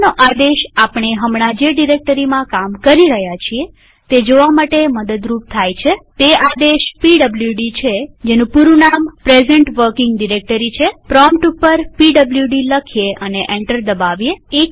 હવેનો આદેશ આપણે હમણાં જે ડિરેક્ટરીમાં કામ કરી રહ્યા છીએ તે જોવા માટે મદદરૂપ થાય છેતે આદેશ પીડબ્લુડી છેપૂરું નામ પ્રેઝન્ટ વર્કિંગ ડિરેક્ટરી છેપ્રોમ્પ્ટ ઉપર પીડબ્લુડી લખીએ અને એન્ટર દબાવીએ